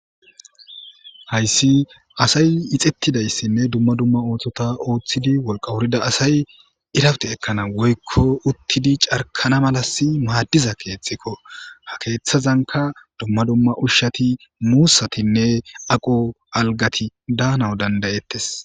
Hayssi asay ixettidayssinne dumma dumma ootota ooththidi wolqa wurida asay irawte ekkana woykko uttidi carkana malas maaddiza keethxikko ha keeththazanka dumma dumma ushshati muussatinne aqo algati daana dandayettes.